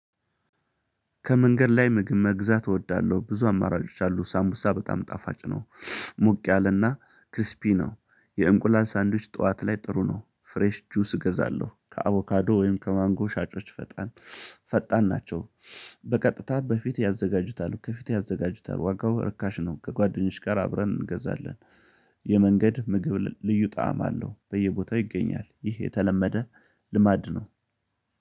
ከመንገድ ላይ ምግብ መግዛት እወዳለሁ ብዙ አማራጮች አሉ ሳምቡሳ በጣም ጣፋጭ ነው። ሞቅ ያለና ክስፒ ነው የእንቁላል ሳንዱች ጠዋት ላይ ጥሩ ነው። ፍሬሽ ጁስ እገዛለሁ ከአቮካዶ ወይም ከማንጎ ሻጮች ፈጣን ፈጣን ናቸው። በቀጥታ በፊት ያዘጋጁታል ከፊት ያዘጋጁታል ዋጋው ርካሽ ነው። ከጓደኞች ጋር አብረን እንገዛለን። የመንገድ ምግብ ልዩ ጣዕም አለው በየቦታው ይገኛል ይህ የተለመደ ልማድ ነው።